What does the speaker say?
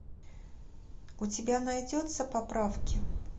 у тебя найдется поправки